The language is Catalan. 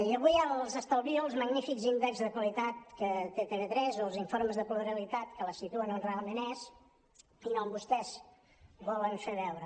i avui els estalvio els magnífics índexs de qualitat que té tv3 o els informes de pluralitat que la situen on realment és i no on vostès volen fer veure